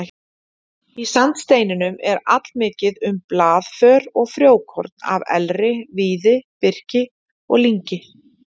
Í sandsteininum er allmikið um blaðför og frjókorn af elri, víði, birki og lyngi.